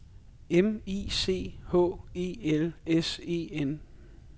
M I C H E L S E N